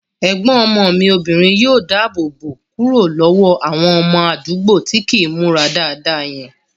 Ẹ̀gbọ́n ọmọ mi obìnrin yóò dáàbò bò kúrò lọ́wọ́ àwọn ọmọ àdúgbò tí kìí n múra dáadáa yẹn